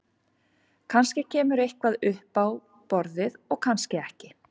Kannski kemur eitthvað upp á borðið og kannski ekki.